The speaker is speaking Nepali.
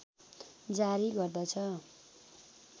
जारी गर्दछ